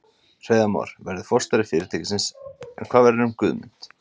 Hreiðar Már verður forstjóri fyrirtækisins en hvað verður um Guðmund?